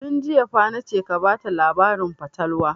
Tun jiya fa na ce ka bata labarin fatalwa!